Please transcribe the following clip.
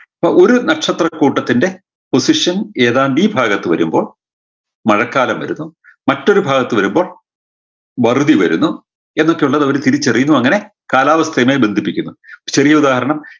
അപ്പൊ ഒരു നക്ഷത്രക്കൂട്ടത്തിൻറെ position ഏതാണ്ട് ഈ ഭാഗത്ത് വരുമ്പോൾ മഴക്കാലം വരുന്നു മറ്റൊരു ഭാഗത്ത് വരുമ്പോൾ വറുതി വരുന്നു എന്നൊക്കെ ഉള്ളത് അവർ തിരിച്ചറിയുന്നു അങ്ങനെ കാലാവസ്ഥയുമായി ബന്ധിപ്പിക്കുന്നു ചെറിയുദാഹരണം